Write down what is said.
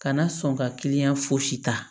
Kana sɔn ka kiliyan fosi ta